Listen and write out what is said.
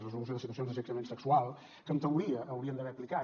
resolució de situacions d’assetjament sexual que en teoria haurien d’haver aplicat